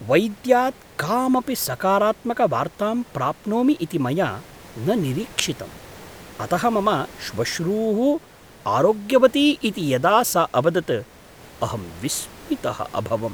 वैद्यात् कामपि सकारात्मकवार्तां प्राप्नोमि इति मया न निरीक्षितम्, अतः मम श्वश्रूः आरोग्यवती इति यदा सा अवदत् अहं विस्मितः अभवम्।